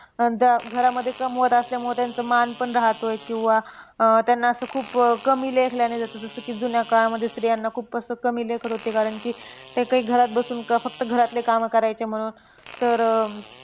घरामध्ये कमवत असल्यामुळे त्यांचा मान पण राहतोय. किंवा अह त्यांना असं खूप कमी लेखल्याने जसं जसं की, जुन्या काळामध्ये स्त्रियांना तसं खूप कमी लेखत होते. कारण की ते घरात बसून फक्त घरातली कामे करायच्या म्हणून. तर.